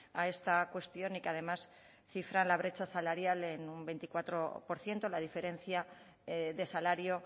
a esta cuestión y que además cifra la brecha salarial en un veinticuatro por ciento la diferencia de salario